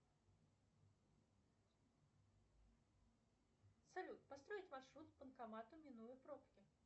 салют построить маршрут к банкомату минуя пробки